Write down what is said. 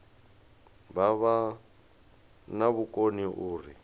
vha vha na vhukoni uri